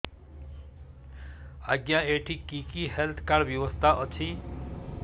ଆଜ୍ଞା ଏଠି କି କି ହେଲ୍ଥ କାର୍ଡ ବ୍ୟବସ୍ଥା ଅଛି